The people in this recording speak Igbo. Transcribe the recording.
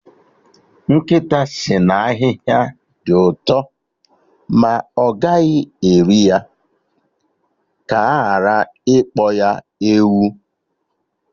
Nkịta sị na ahịhịa dị ụtọ ma ọ gaghị eri ya, ka aghara ịkpọ ya ewu